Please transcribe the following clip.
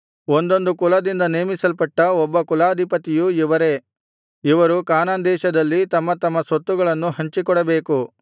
ಒಂದೊಂದು ಕುಲದಿಂದ ನೇಮಿಸಲ್ಪಟ್ಟ ಒಬ್ಬ ಕುಲಾಧಿಪತಿಯೂ ಇವರೇ ಇವರು ಕಾನಾನ್ ದೇಶದಲ್ಲಿ ತಮ್ಮ ತಮ್ಮ ಸ್ವತ್ತುಗಳನ್ನು ಹಂಚಿಕೊಡಬೇಕು